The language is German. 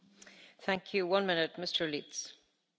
Frau Präsidentin, sehr geehrte Hohe Vertreterin!